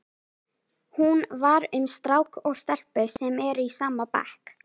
Hún var um strák og stelpu sem eru í sama bekk.